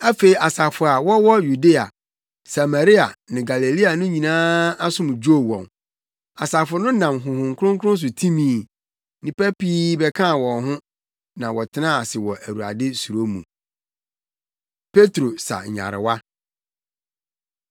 Afei asafo a wɔwɔ Yudea, Samaria ne Galilea no nyinaa asom dwoo wɔn. Asafo no nam Honhom Kronkron so timii. Nnipa pii bɛkaa wɔn ho na wɔtenaa ase wɔ Awurade suro mu. Petro Sa Nyarewa